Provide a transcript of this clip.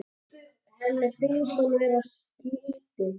Henni finnst hún vera slytti.